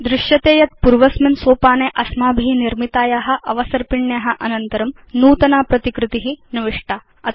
वयं पश्याम यत् पूर्वस्मिन् सोपाने अस्माभि निर्मिताया अवसर्पिण्या अनन्तरं नूतना प्रतिकृति निविष्टा